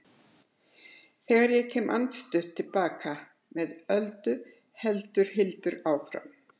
Þegar ég kem andstutt til baka með Öldu heldur Hildur áfram